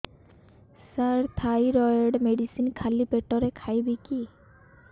ସାର thyroid medicine ଖାଲି ପେଟରେ ଖାଇବି କି